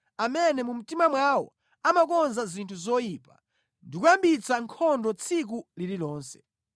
amene mu mtima mwawo amakonza zinthu zoyipa ndi kuyambitsa nkhondo tsiku lililonse.